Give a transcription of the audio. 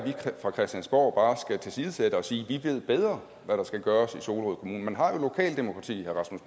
fra christiansborg bare skal tilsidesætte bare sige at vi ved bedre hvad der skal gøres i solrød kommune man har jo lokaldemokrati herre